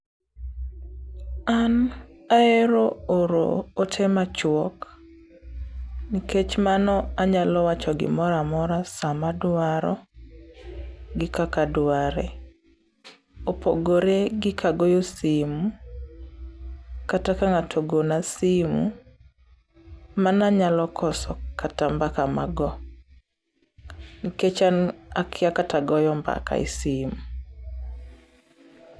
An aero oro ote machuok, nikech mano anyalo wacho gimoramora sama adwaro gi kaka dware. Opogore gi kagoyo sim, kata ka ng'ato ogona simu. Mana nyalo koso kata mbaka mago, nikech an akia kata goyo mbaka e sim.